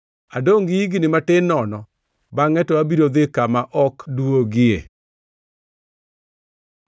“Adongʼ gi higni matin nono, bangʼe to abiro dhi kama ok duogie.